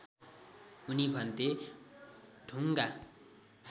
उनी भन्थे ढुङ्गा